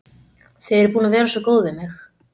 Þið eruð búin að vera svo góð við mig.